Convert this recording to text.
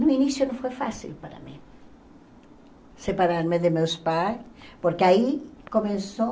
No início não foi fácil para mim, separar-me de meus pais, porque aí começou...